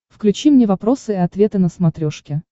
включи мне вопросы и ответы на смотрешке